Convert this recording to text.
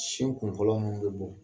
Sin kun fɔlɔ munun be bɔ